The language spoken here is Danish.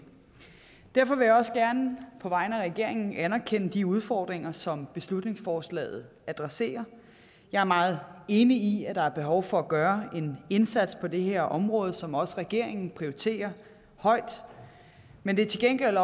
derfor vil jeg også gerne på vegne af regeringen anerkende de udfordringer som beslutningsforslaget adresserer jeg er meget enig i at der er behov for at gøre en indsats på det her område som regeringen også prioriterer højt men det er til gengæld